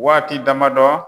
Waati dama dɔ